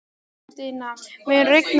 Guðmundína, mun rigna í dag?